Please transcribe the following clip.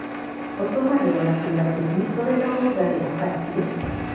ũtũmĩragwo na kũiga tũcui tũrĩ na rũgarĩ ũbatie,